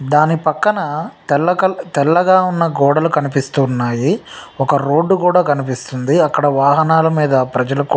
దాని పక్కన తెల్ల కల-తెల్లగా ఉన్న గోడలు కనిపిస్తూ ఉన్నాయి ఒక రోడ్డు కూడా కనిపిస్తుంది అక్కడ వాహనాల మీద ప్రజలు కు--